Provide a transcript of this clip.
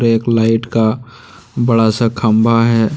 एक लाइट का बड़ा सा खंभा है।